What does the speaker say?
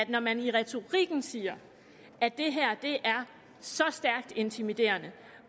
når man i retorikken siger at det her er så stærkt intimiderende